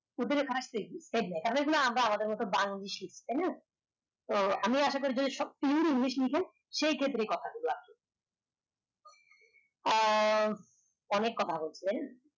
এই যে এইগুলো আমরা আমাদের মত বাংলিশ লেখি তাই না তো আমি আশা করি শক্ত ইংলিশ লেখেন সেই ক্ষেত্রে এই কথা গুলো আহ অনেক কথা বলছেন